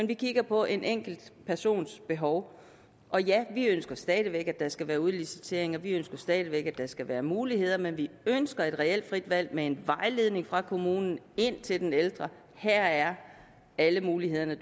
vi kigger på en enkelt persons behov og ja vi ønsker stadig væk at der skal være udliciteringer og vi ønsker stadig væk at der skal være muligheder men vi ønsker et reelt frit valg med en vejledning fra kommunen til den ældre om at her er alle de muligheder